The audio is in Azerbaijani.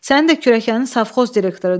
Sənin də kürəkənin savxoz direktorudur.